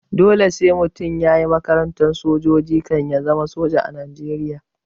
Dole sai mutum yayi makarantar sojoji kan ya zama soja a najeriya